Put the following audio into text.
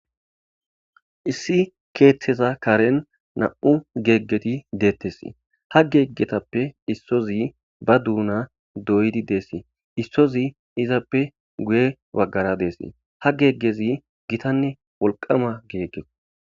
Issi keeththeza karen nam7u geeggeti deettesi ha geeggetappe issozi ba duuna doydi deessi issozi izappe guye baggara deesi ha geeggezi gitanne wolqama geegge